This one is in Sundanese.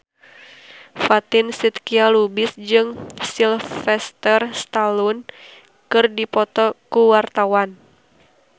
Fatin Shidqia Lubis jeung Sylvester Stallone keur dipoto ku wartawan